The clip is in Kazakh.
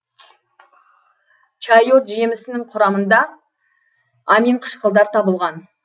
чайот жемісінің құрамында аминқышқылдар табылған